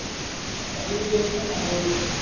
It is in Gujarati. પછી એ bank માં લાગી ગયું